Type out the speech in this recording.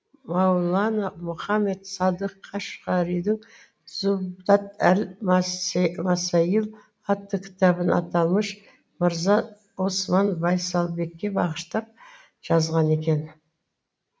маулана мұхаммед садық қашғаридің зубдат әл масаил атты кітабын аталмыш мырза осман байсабекке бағыштап жазған екен